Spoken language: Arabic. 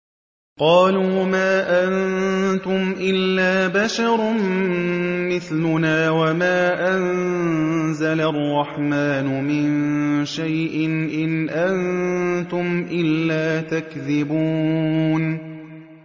قَالُوا مَا أَنتُمْ إِلَّا بَشَرٌ مِّثْلُنَا وَمَا أَنزَلَ الرَّحْمَٰنُ مِن شَيْءٍ إِنْ أَنتُمْ إِلَّا تَكْذِبُونَ